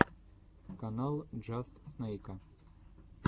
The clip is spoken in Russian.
канал джаст снэйка